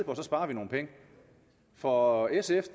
og så sparer vi nogle penge for sf